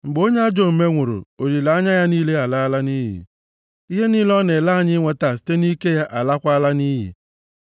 Mgbe onye ajọ omume nwụrụ, olileanya ya niile alala nʼiyi, ihe niile ọ na-ele anya inweta site nʼike ya alaakwala nʼiyi.